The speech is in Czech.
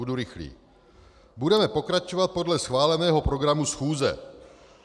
Budu rychlý: Budeme pokračovat podle schváleného programu schůze.